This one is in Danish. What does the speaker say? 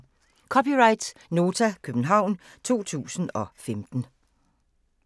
(c) Nota, København 2015